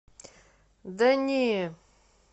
да не